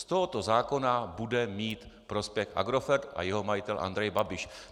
Z tohoto zákona bude mít prospěch Agrofert a jeho majitel Andrej Babiš.